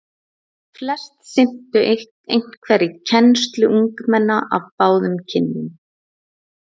Flest sinntu einhverri kennslu ungmenna af báðum kynjum.